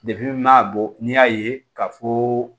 n m'a bɔ n'i y'a ye k'a fɔ